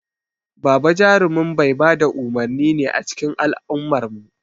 Baba jarumin mai ba da umurni ne a cikin al'ummarmu.